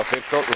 No lo acepto.